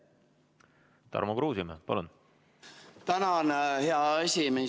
Tarmo Kruusimäe, palun!